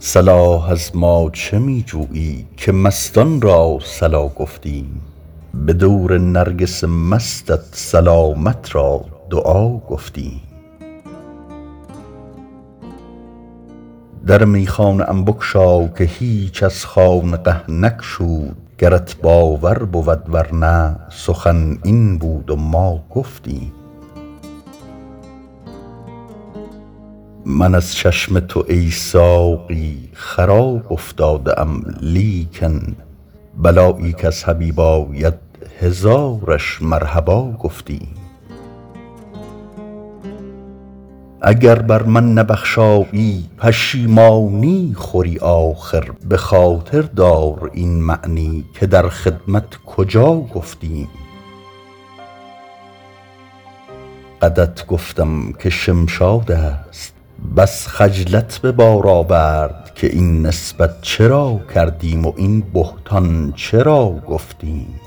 صلاح از ما چه می جویی که مستان را صلا گفتیم به دور نرگس مستت سلامت را دعا گفتیم در میخانه ام بگشا که هیچ از خانقه نگشود گرت باور بود ور نه سخن این بود و ما گفتیم من از چشم تو ای ساقی خراب افتاده ام لیکن بلایی کز حبیب آید هزارش مرحبا گفتیم اگر بر من نبخشایی پشیمانی خوری آخر به خاطر دار این معنی که در خدمت کجا گفتیم قدت گفتم که شمشاد است بس خجلت به بار آورد که این نسبت چرا کردیم و این بهتان چرا گفتیم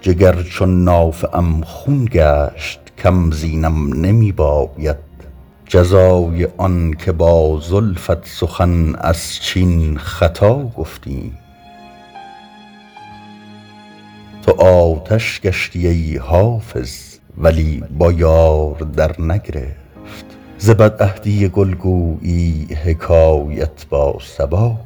جگر چون نافه ام خون گشت کم زینم نمی باید جزای آن که با زلفت سخن از چین خطا گفتیم تو آتش گشتی ای حافظ ولی با یار درنگرفت ز بدعهدی گل گویی حکایت با صبا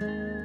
گفتیم